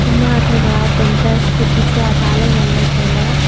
ema athe kha tamta scooty chu ada le ngan le tai le.